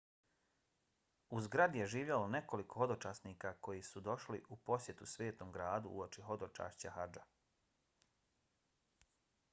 u zgradi je živjelo nekoliko hodočasnika koji su došli u posjetu svetom gradu uoči hodočašća hadža